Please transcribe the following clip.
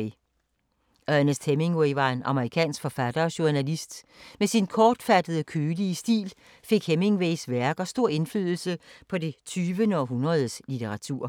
Ernest Hemingway var en amerikansk forfatter og journalist. Med sin kortfattede og kølige stil fik Hemingways værker stor indflydelse på det 20. århundredes litteratur.